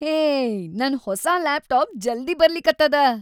ಹೇ ನನ್‌ ಹೊಸಾ ಲಾಪ್‌ಟಾಪ್‌ ಜಲ್ದಿ ಬರ್ಲಿಕತ್ತದ.